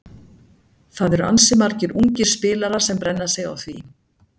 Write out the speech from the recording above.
Það eru ansi margir ungir spilarar sem brenna sig á því.